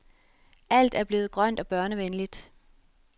Alt er blevet grønt og børnevenligt.